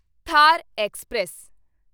Thar express